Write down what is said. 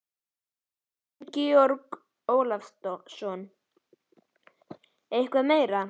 Auðun Georg Ólafsson: Eitthvað meira?